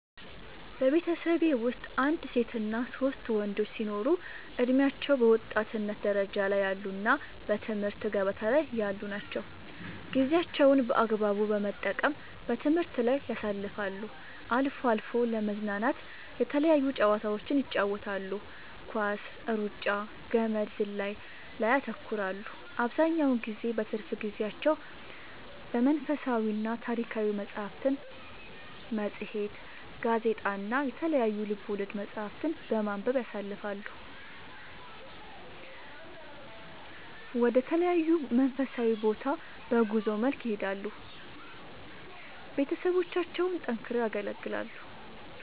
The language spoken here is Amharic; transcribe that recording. በቤተሠቤ ወስጥ አንድ ሴትና ሶስት ወንዶች ሲኖሩ እድሜያቸው በወጣትነት ደረጃ ላይ ያሉ እና በትምህርት ገበታ ላይ ያሉ ናቸው ጌዜያቸውን በአግባቡ በመጠቀም በትምህርት ላይ ያሳልፋሉ አልፎ አልፎ ለመዝናናት የተለያዩ ጨዋታዎችን ይጫወታሉ ኳስ ,እሩጫ ,ገመድ ዝላይ ላይ ያተኩራሉ አብዛኛውን ጊዜ በትርፍ ጊዜያቸው መንፈሳዊና ታሪካዊ መፅሐፍትን ,መፅሄት ,ጋዜጣ እና የተለያዩ ልቦለድ መፅሐፍትን በማንበብ ያሣልፈሉ ወደ ተለያዩ መንፈሳዊ ቦታ በጉዞ መልክ ይሄዳሉ ቤተሠቦቻቸውን ጠንክረው ያገለግላሉ